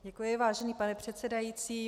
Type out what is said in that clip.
Děkuji, vážený pane předsedající.